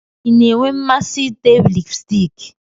Ị na-enwe mmasị ite lipstiki?